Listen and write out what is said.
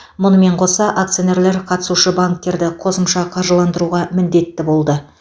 мұнымен қоса акционерлер қатысушы банктерді қосымша қаржыландыруға міндетті болды